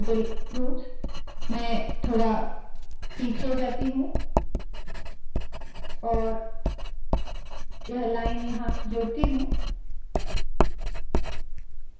तो label – fruits मैं थोडा पीछे जाती हूँ और यह लाइन यहाँ जोड़ती हूँ